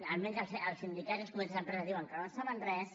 almenys els sindicats i els comitès d’empresa diuen que no en saben res